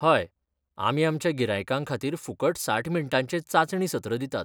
हय, आमी आमच्या गिरायकां खातीर फुकट साठ मिनटांचें चांचणी सत्र दितात.